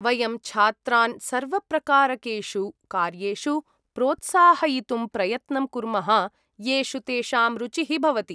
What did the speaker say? वयं छात्रान् सर्वप्रकारकेषु कार्येषु प्रोत्साहयितुं प्रयत्नं कुर्मः येषु तेषां रुचिः भवति।